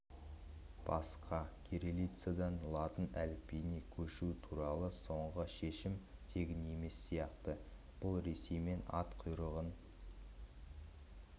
басқа кириллицадан латын әліпбиіне көшу туралы соңғы шешім тегін емес сияқты бұл ресеймен ат құйрығын